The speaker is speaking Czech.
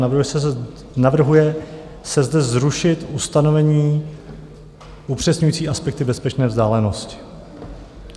Navrhuje se zde zrušit ustanovení upřesňující aspekty bezpečné vzdálenosti.